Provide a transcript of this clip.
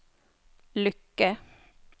lykke